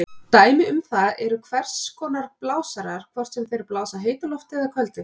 Dæmi um það eru hvers konar blásarar, hvort sem þeir blása heitu lofti eða köldu.